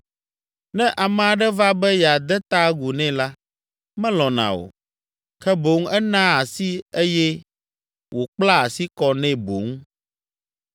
Ne ame aɖe va be yeade ta agu nɛ la, melɔ̃na o, ke boŋ enaa asii eye wòkplaa asi kɔ nɛ boŋ.